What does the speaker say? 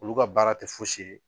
Olu ka baara tɛ fosi ye.